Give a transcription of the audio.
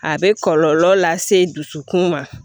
A bɛ kɔlɔlɔ lase dusukun ma